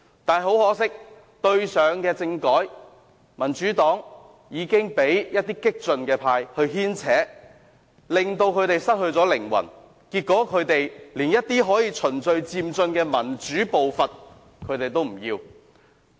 但是，很可惜，上次政改，民主黨被一些激進派牽扯，失去靈魂，結果連循序漸進的民主步伐也不要。